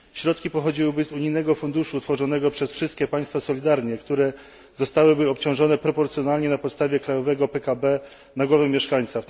Środki pochodziłyby z unijnego funduszu utworzonego solidarnie przez wszystkie państwa, które zostałyby obciążone proporcjonalnie na podstawie krajowego PKB na głowę mieszkańca.